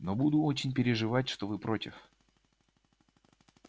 но буду очень переживать что вы против